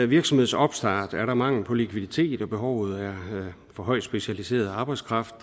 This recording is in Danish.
virksomheds opstart er der mangel på likviditet og behovet for højt specialiseret arbejdskraft